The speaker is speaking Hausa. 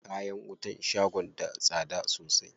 Kayan wutan shagon da tsada sosai.